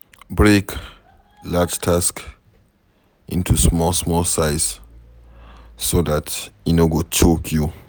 Break large task into small small sizes so dat e no go choke you